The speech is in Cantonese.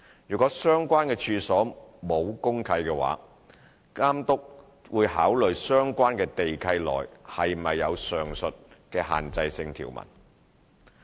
如果相關處所沒有公契，監督會考慮相關地契內是否有上述的限制性條文。